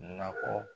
Nakɔ